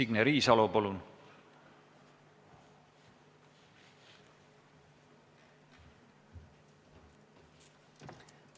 Signe Riisalo, palun!